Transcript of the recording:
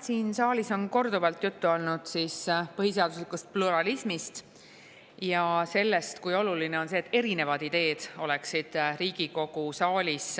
Siin saalis on korduvalt juttu olnud põhiseaduslikust pluralismist ja sellest, kui oluline on see, et erinevad ideed oleksid Riigikogu saalis